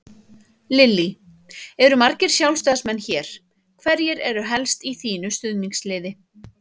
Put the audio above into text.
Lillý: Eru margir Sjálfstæðismenn hér, hverjir eru helst í þínu stuðningsliði?